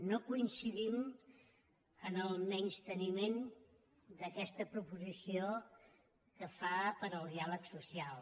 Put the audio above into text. no coincidim en el menysteniment d’aquesta proposició que fa per al diàleg social